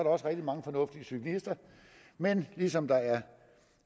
også rigtig mange fornuftige cyklister men ligesom der er